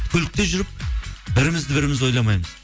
көлікте жүріп бірімізді біріміз ойламаймыз